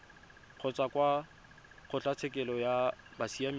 kgotsa kwa kgotlatshekelo ya bosiamisi